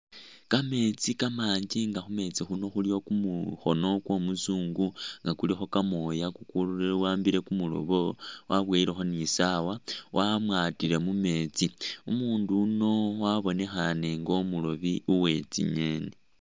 Kameetsi kamanji nga khu meetsi khuno khulikho kumukhono kwa umuzungu nga kulikho kamooya kukuwaambile kumurobo, waboyilekho ni i'sawa wamwatile mu meetsi. Umundu yuno wabonekhane nga umurobi we tsingeeni.